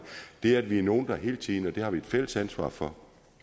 det at vi er nogle der hele tiden det har vi et fælles ansvar for